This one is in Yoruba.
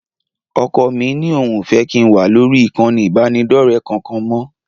Ọkọ mí ní òun ò fẹ́ kí n wà lórí ìkànnì ìbánidọ́rẹ̀ẹ́ kankan mọ́